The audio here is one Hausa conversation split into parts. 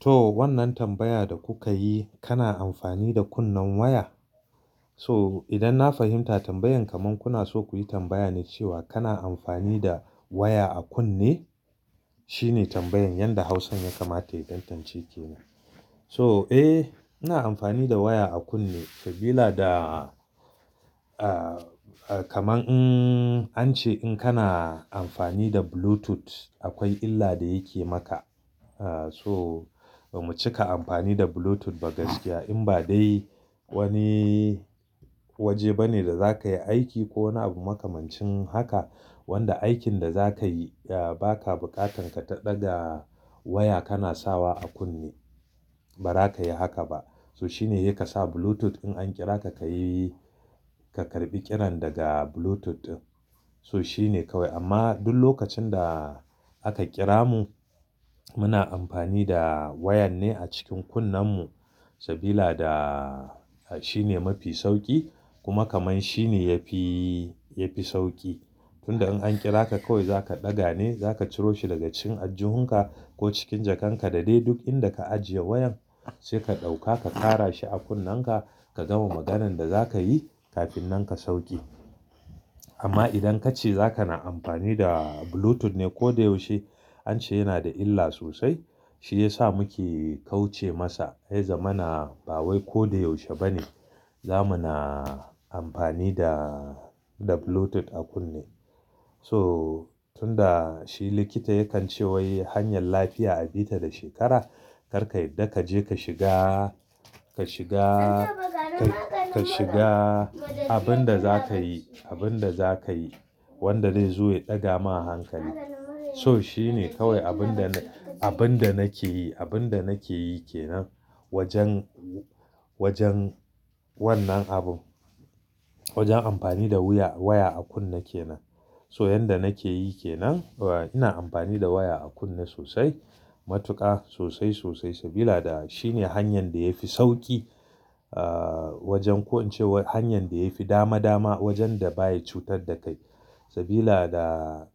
To wannan tambaya da kuka yi, kana amfani da kunnen waya? To idan na fahimta tambayan kamar kuna so ku yi tambaya ne cewa kana amfani da waya a kunne? Shine tambayan, yanda Hausan ya kamata in tantance ke nan. So eh, ina amfani da waya a kunne sabida da, kamar in an ce in kana amfani da Bluetooth akwai illa da yake maka. So mu cika amfani da Bluetooth ba gaskiya in ba dai wani waje bane da za ka yi aiki ko wani abu makamancin haka wanda aikin da za ka yi ba ka buƙatan ka ta ɗaga waya kana sawa a kunne. Ba za ka yi haka ba. To shine yaka sa Bluetooth in an kira ka, ka yi ka karɓi kiran daga Bluetooth. To shine kawai amma duk lokacin da aka kira mu muna amfani da wayan ne a cikin kunnen mu sabida da shine mafi sauki kuma kamar shine yafi, yafi sauki. Tunda in an kira ka kawai za ka ɗaga ne, za ka ciro shi daga cikin ajjuhunka ko cikin jakan ka da dai duk inda ka ajiye wayan sai ka ɗauka ka kara shi a kunnen ka, ka gama maganan da za ka yi kafin nan ka sauke. Amma idan kace za ka na amfani da Bluetooth ne koyaushe an ce yana da illa sosai. Shi ya sa muke kauce masa. Ya zamana ba wai koyaushe bane. Za muna amfani da, da Bluetooth a kunne. To tunda shi likita ya kan cewa hanyar lafiya a bi ta da shekara, kar ka yadda ka je ka shiga, ka shiga, ka shiga abin da za ka yi, abin da za ka yi wanda zai zo ya ɗaga ma hankali. To shine kawai abun da na, abun da nake yi, abun da nake yi ke nan wajen, wajen wannan abu. Wajen amfani da wuya, waya a kunne ke nan. So yanda nake yi ke nan. Ina amfani da waya a kunne sosai, matuƙa sosai, sosai sabida da shine hanyar da ya fi sauki. Wajen ko an ce hanyar da ya fi dama dama wajen da baya cutar da kai. Sabila da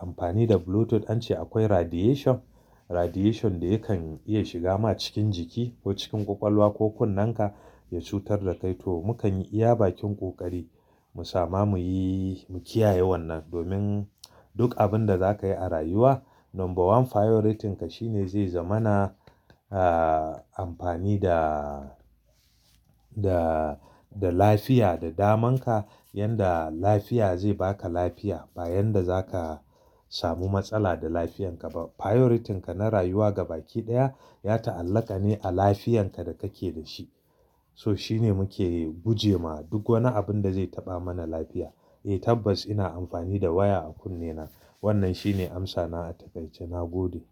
amfani da Bluetooth an ce akwai radiation, radiation da yakan iya shiga ma cikin jiki ko cikin ƙwaƙwalwa ko kunnen ka ya cutar da kai. To mu kan yi iya bakin ƙoƙari mu sama muyi, mu kiyaye wannan domin duk abun da za ka yi a rayuwa, number one priorityn ka shine zai zama na, amfani da, da, da lafiya, da daman ka. Yanda lafiya zai ba ka lafiya ba yanda za ka samu matsala da lafiyan ka. Priorityn ka na rayuwa gaba ɗaya ya ta'allaka ne a lafiyan ka da kake da shi. To shine muke guje ma duk wani abun da zai taɓa mana lafiya. Eh tabbas ina amfani da waya a kunnen na. Wannan shine amsa na a taƙaice. Na gode.